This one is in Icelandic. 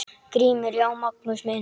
GRÍMUR: Já, Magnús minn!